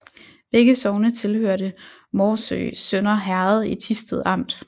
Begge sogne hørte til Morsø Sønder Herred i Thisted Amt